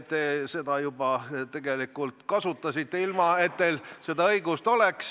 Te seda juba tegelikult kasutasite, ilma et teil seda õigust oleks.